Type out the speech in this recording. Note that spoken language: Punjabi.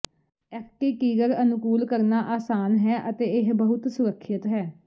ਐਕਟੀਟੀਿਗਰ ਅਨੁਕੂਲ ਕਰਨਾ ਆਸਾਨ ਹੈ ਅਤੇ ਇਹ ਬਹੁਤ ਸੁਰੱਖਿਅਤ ਹੈ